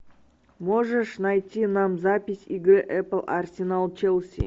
можешь найти нам запись игры апл арсенал челси